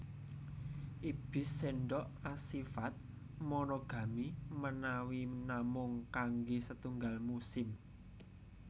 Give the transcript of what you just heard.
Ibis sendok asifat monogami menawi namung kangge setunggal musim